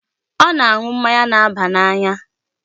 Ọ na-aṅụ mmanya na-aba n'anya.